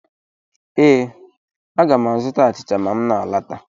Ee, aga m azụta achịcha ma m na alọta.